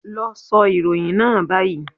Lọ sọ ìròyìn náà báyìí